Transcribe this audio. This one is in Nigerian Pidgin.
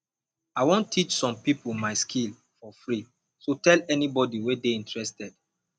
i wan teach some people my skill for free so tell anybody wey dey interested